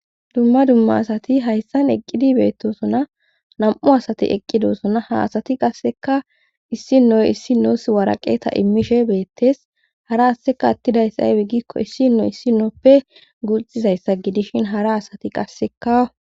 dumma dumma asati hayssan eqqidi beettosuna nam7u asati eqqidosuna ha asati qasseka issi noy issi noos waraqeta immishe beettes hara asseka attidayssa aybe gikko issino issi nooppe guxxizayssa gidishin hara asati qasseka